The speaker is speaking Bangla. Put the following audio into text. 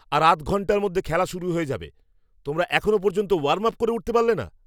আর আধ ঘণ্টার মধ্যে খেলা শুরু হয়ে যাবে। তোমরা এখনও পর্যন্ত ওয়ার্ম আপ করে উঠতে পারলে না?